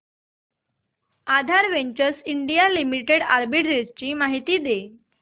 आधार ventures India limited arbitrage माहिती दे